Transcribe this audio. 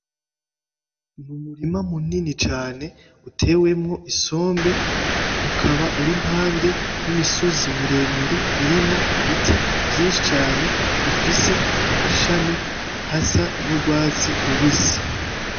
Umurima munini cane utewemwo isombe ukaba uri impande yimisozi miremire irimwo ibiti vyishi cane bifise amashami asa n'urwatsi rubisi